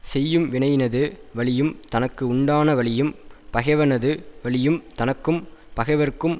செய்யும் வினையினது வலியும் தனக்கு உண்டான வலியும் பகைவனது வலியும் தனக்கும் பகைவர்க்கும்